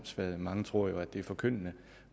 mange tror jo at det er forkyndende